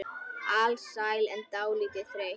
Alsæl en dálítið þreytt.